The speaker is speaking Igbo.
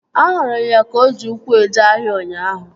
Ahụrụ ya ka o ji ụkwụ eje ahịa ụnyaahụ